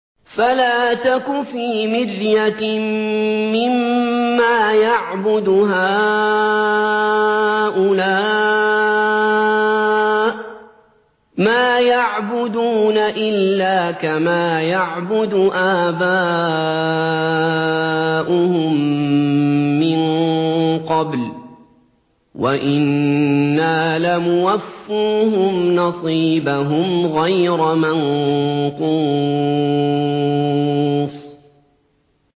فَلَا تَكُ فِي مِرْيَةٍ مِّمَّا يَعْبُدُ هَٰؤُلَاءِ ۚ مَا يَعْبُدُونَ إِلَّا كَمَا يَعْبُدُ آبَاؤُهُم مِّن قَبْلُ ۚ وَإِنَّا لَمُوَفُّوهُمْ نَصِيبَهُمْ غَيْرَ مَنقُوصٍ